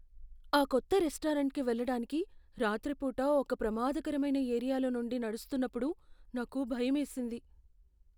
ఆ కొత్త రెస్టారెంట్కి వెళ్ళటానికి రాత్రిపూట ఒక ప్రమాదకరమైన ఏరియాలో నుండి నడుస్తున్నప్పుడు నాకు భయమేసింది.